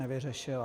Nevyřešila.